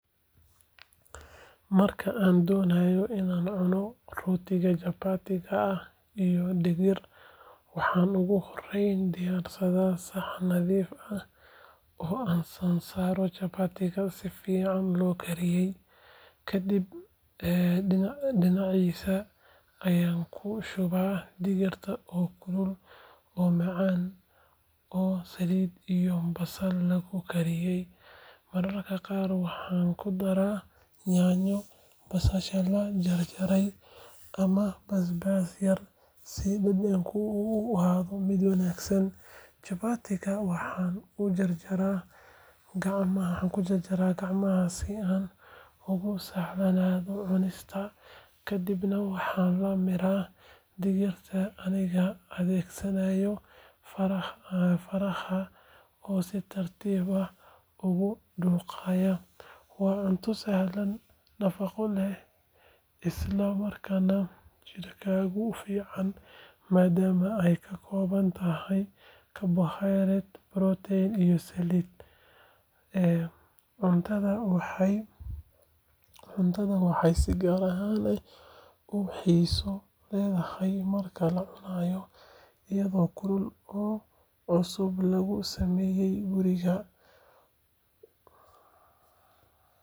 Marka aan doonayo inaan cuno rootiga chapati-ga iyo digirta waxaan ugu horreyn diyaarsadaa saxan nadiif ah oo aan saaro chapati-ga si fiican loo kariyay, kadibna dhinaciisa ayaan ku shubaa digirta oo kulul oo macaan oo saliid iyo basal lagu kariyay. Mararka qaar waxaan ku daraa yaanyo, basasha la jarjaray ama basbaas yar si dhadhanka u ahaado mid wanaagsan. Chapati-ga waxaan ku jarjaraa gacmaha si aan ugu sahlanaato cunista kadibna waxaan la miiraa digirta anigoo adeegsanaya faraha oo si tartiib ah ugu dhuuqaya. Waa cunto sahlan, nafaqo leh isla markaana jidhka u fiican maadaama ay ka kooban tahay karbohaydraytyo, borotiin iyo saliid. Cuntadaan waxay si gaar ah u xiiso leedahay marka la cunayo iyadoo kulul oo cusub lagu sameeyay guriga.